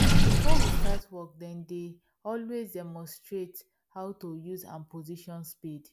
before we start work then dey always demonstrate how to use and position spade